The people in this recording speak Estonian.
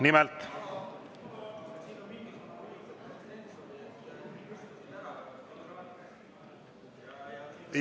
Nimelt …